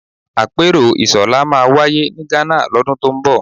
Àpérò ISOLA máa wáyé ní Ghana lọ́dún tó ń bọ̀